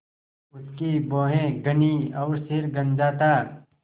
उसकी भौहें घनी और सिर गंजा था